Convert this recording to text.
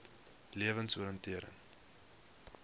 lewensoriëntering